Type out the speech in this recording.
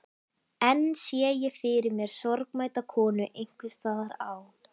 Enn sé ég fyrir mér sorgmædda konu einhvers staðar á